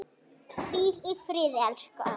Hvíl í friði elsku afi.